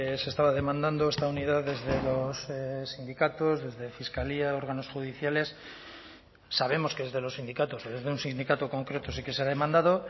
se estaba demandando esta unidad desde los sindicatos desde fiscalía órganos judiciales sabemos que desde los sindicatos desde un sindicato concreto sí que se ha demandado